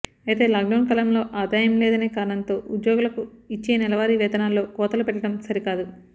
అయితే లాక్డౌన్ కాలంలో ఆదాయం లేదనే కారణంతో ఉద్యోగులకు ఇచ్చే నెలవారీ వేతనాల్లో కోతలు పెట్టడం సరికాదు